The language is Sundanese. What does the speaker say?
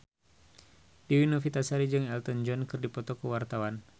Dewi Novitasari jeung Elton John keur dipoto ku wartawan